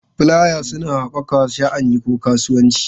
Fulaya suna haɓaka sha'ani ko kasuwanci.